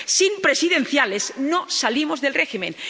Sin presidenciales, no salimos del régimen.